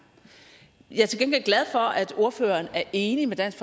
jeg er til gengæld glad for at ordføreren er enig med dansk